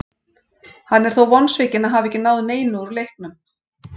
Hann er þó vonsvikinn að hafa ekki náð neinu úr leiknum.